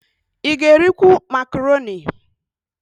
Ị ga-erikwu makaroni?